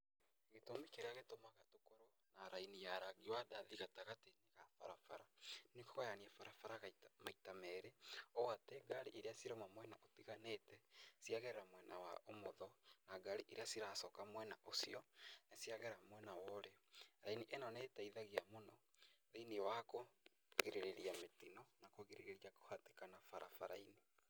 Gĩtũmi kĩrĩa gĩtũmaga tũkorwo na raini ya rangi wa ndathi gatagatĩ ga barabara, nĩ kũgayania barabara maita merĩ, ũũ atĩ ngari irĩa cirauma mwena ũtiganĩte, ciagera mwena wa ũmotho na ngari irĩa ciracoka mwena ũcio nĩ ciagera mwena wa ũrĩo, raini ĩno nĩ ĩteithagia mũno thĩiniĩ wa kũgirĩrĩria mĩtino na kũgirĩrĩria kũhatĩkana barabara-inĩ.